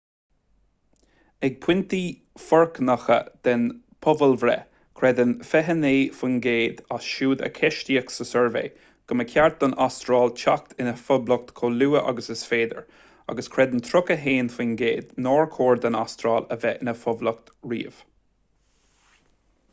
ag pointí foircneacha den phobalbhreith creideann 29 faoin gcéad as siúd a ceistíodh sa suirbhé go mba cheart don astráil teacht ina poblacht chomh luath agus is féidir agus creideann 31 faoin gcéad nár chóir don astráil a bheith ina poblacht riamh